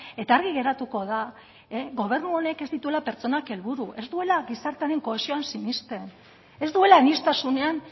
eta argi geratuko da gobernu honek ez dituela pertsonak helburu ez duela gizartearen kohesioan sinisten ez duela aniztasunean